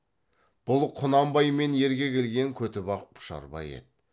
бұл құнанбаймен ерге келген көтібақ пұшарбай еді